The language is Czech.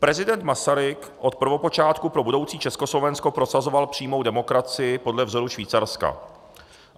Prezident Masaryk od prvopočátku pro budoucí Československo prosazoval přímou demokracii podle vzoru Švýcarska.